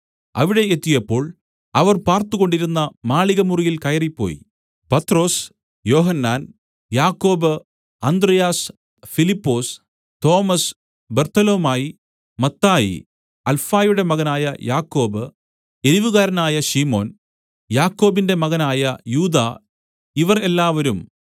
അവിടെ എത്തിയപ്പോൾ അവർ പാർത്തുകൊണ്ടിരുന്ന മാളികമുറിയിൽ കയറിപ്പോയി പത്രൊസ് യോഹന്നാൻ യാക്കോബ് അന്ത്രെയാസ് ഫിലിപ്പൊസ് തോമസ് ബർത്തൊലൊമായി മത്തായി അൽഫായുടെ മകനായ യാക്കോബ് എരിവുകാരനായ ശിമോൻ യാക്കോബിന്റെ മകനായ യൂദാ ഇവർ എല്ലാവരും